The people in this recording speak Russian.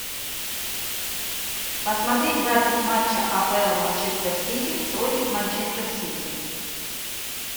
посмотреть запись матча апл манчестер сити против манчестер сити